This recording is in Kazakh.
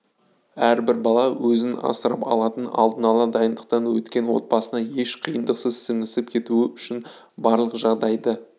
әрбір бала өзін асырап алатын алдын-ала дайындықтан өткен отбасына еш қиындықсыз сіңісіп кетуі үшін барлық жағдайды